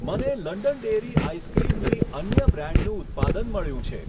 મને London dairy ice ક્રીમની અન્ય બ્રાન્ડનું ઉત્પાદન મળ્યું છે.